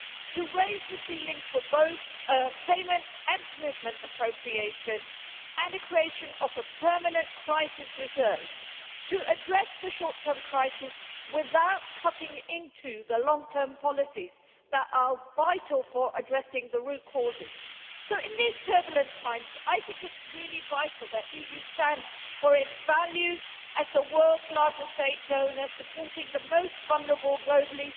to raise the ceilings for both payments and commitment appropriations, and the creation of a permanent crisis reserve, to address the short term crisis without cutting into the long term policies that are vital for addressing the root causes. So in these turbulent times I think it is really vital that the EU stands for its values as the world's largest aid donor, supporting the most vulnerable globally.